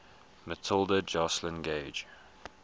matilda joslyn gage